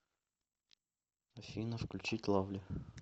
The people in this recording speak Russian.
афина включи лавли